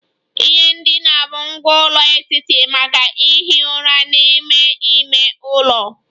Ihe ndina bụ ngwá ụlọ etiti maka ihi ụra n'ime ime ụlọ